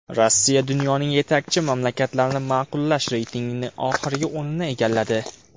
Rossiya dunyoning yetakchi mamlakatlarini ma’qullash reytingida oxirgi o‘rinni egalladi.